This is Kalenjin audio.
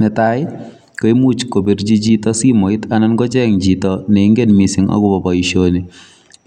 Netai koimuch kobirchi chito simoit anan kocheng chito ne ingen mising agobo boisioni.